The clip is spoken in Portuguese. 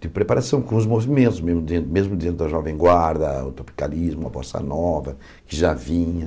de preparação com os movimentos, mesmo dentro da Jovem Guarda, o Topicalismo, a Bossa Nova, que já vinha.